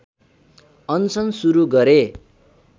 अनसन सुरू गरे